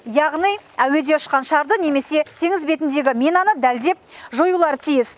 яғни әуеде ұшқан шарды немесе теңіз бетіндегі минаны дәлдеп жоюлары тиіс